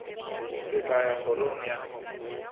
ke tla ya kgorong ya